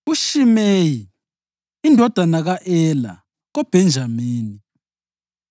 uShimeyi indodana ka-Ela koBhenjamini;